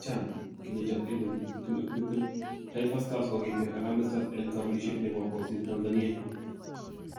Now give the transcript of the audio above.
CHAN 2020: Taifa stars kokiter Harambee Stars en kobelisiet nebo kosir Tanzania